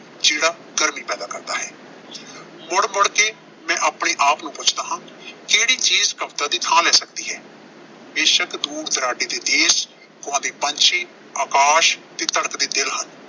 ਜਿਹੜਾ ਗਰਮੀ ਪੈਦਾ ਕਰਦਾ ਹੈ। ਮੁੜ-ਮੁੜ ਕੇ ਮੈਂ ਆਪਣੇ ਆਪ ਨੂੰ ਪੁੱਛਦਾ ਹਾਂ, ਕਿਹੜੀ ਚੀਜ਼ ਕਵਿਤਾ ਦੀ ਥਾਂ ਲੈ ਸਕਦੀ ਹੈ। ਬੇਸ਼ੱਕ ਦੂਰ-ਦੁਰਾਡੇ ਦੇ ਦੇਸ਼, ਗਾਉਂਦੇ ਪੰਛੀ, ਆਕਾਸ਼ ਤੇ ਧੜਕਦੇ ਦਿਲ ਹਨ।